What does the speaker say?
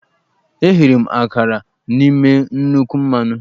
Eghere m akara n'ime nnukwu mmanụ.